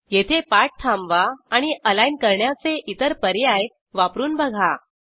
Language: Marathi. येथे पाठ थांबवा आणि अलाईन करण्याचे इतर पर्याय वापरून बघा